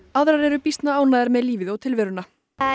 aðrar eru býsna ánægðar með lífið og tilveruna